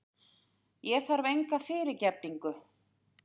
Ég þarf enga fyrirgefningu.